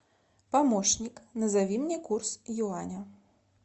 помощник назови мне курс юаня